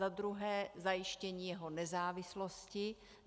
Za druhé zajištění jeho nezávislosti.